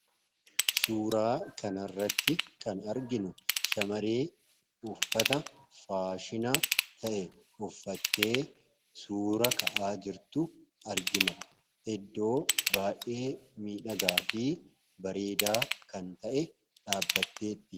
Suuraa kana irratti kan arginu shamarree uffata faashina ta'e uffattee suura ka'aa jirtu argina. Iddoo baay'ee miidhagaa fi bareedaa kan ta'e dhaabbattee jirti.